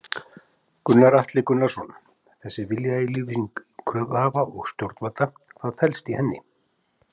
Gunnar Atli Gunnarsson: Þessi viljayfirlýsing kröfuhafa og stjórnvalda, hvað felst í henni?